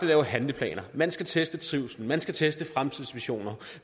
lave handleplaner man skal teste trivslen man skal teste fremtidsvisioner